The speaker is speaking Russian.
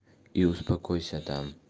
и успокойся там